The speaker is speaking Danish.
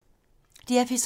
DR P3